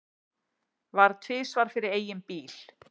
Varð tvisvar fyrir eigin bíl